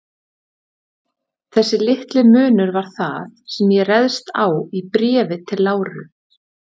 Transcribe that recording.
Þessi litli munur var það, sem ég réðst á í Bréfi til Láru.